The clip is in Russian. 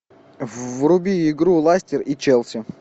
вруби игру лестер и челси